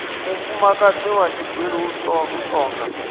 mufumakadzi wa tshigwili u tonga